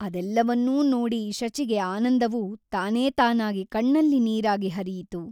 ಅದೆಲ್ಲವನ್ನೂ ನೋಡಿ ಶಚಿಗೆ ಆನಂದವು ತಾನೇತಾನಾಗಿ ಕಣ್ಣಲ್ಲಿ ನೀರಾಗಿ ಹರಿಯಿತು.